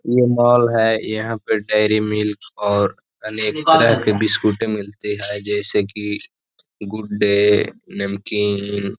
ये मॉल है। यहाँ पे डेरी मिल्क और अन्य तरह की बिस्कुट मिलते हैं जैसे कि गुड डे नमकीन --